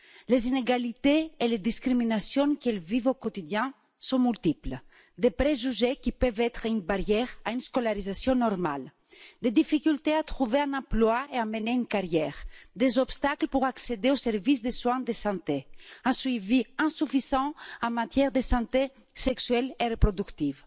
Les inégalités et les discriminations qu'elles vivent au quotidien sont multiples des préjugés qui peuvent être un obstacle à une scolarisation normale, des difficultés à trouver un emploi et à mener une carrière, des obstacles pour accéder au service des soins de santé, un suivi insuffisant en matière de santé sexuelle et reproductive,